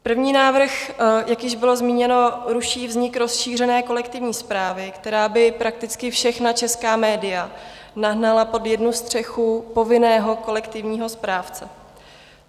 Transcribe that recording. První návrh, jak již bylo zmíněno, ruší vznik rozšířené kolektivní správy, která by prakticky všechna česká média nahnala pod jednu střechu povinného kolektivního správce.